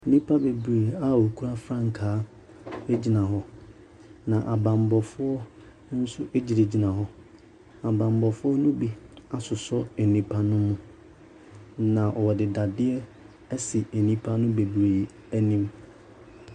Nnipa bebree a wɔkura frankaa gyina hɔ, na abammɔfoɔ nso gyinagyina hɔ. Abammɔfoɔ no bi asosɔ nnipa no mu, na wɔde dadeɛ asi nnipa no bebree anim.